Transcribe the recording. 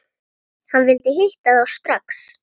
Hann vildi hitta þá strax.